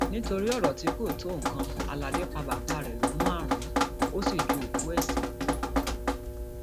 nítorí ọrọ tí kò tó nǹkan aládé pa bàbá rẹ lọmúaran ò sì ju òkú ẹ sígbó